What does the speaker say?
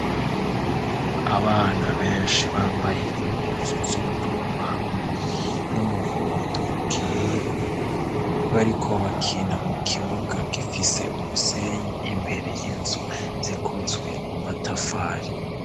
Abana benshi bambaye impuzu z'ubururu hamwe n'umuhondo ukeye, bariko bakina mu kibuga gifise umusenyi imbere y'inzu zikozwe mu matafari.